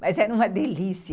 Mas era uma delícia.